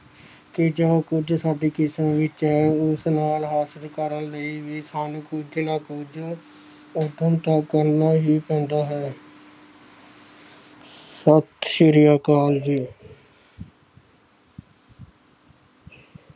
ਕਿ ਜੋ ਕੁੱਝ ਸਾਡੀ ਕਿਸਮਤ ਵਿੱਚ ਹੈ ਉਸ ਨਾਲ ਹਾਸਿਲ ਕਰਨ ਲਈ ਵੀ ਸਾਨੂੰ ਕੁੱਝ ਨਾ ਕੁੱਝ ਉਦਮ ਤਾਂ ਕਰਨਾ ਹੀ ਪੈਂਦਾ ਹੈ ਸਤਿ ਸ੍ਰੀ ਅਕਾਲ ਜੀ।